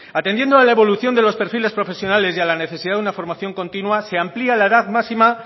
atendiendo a la evolución de los perfiles profesionales y a la necesidad de una formación continua se amplía la edad máxima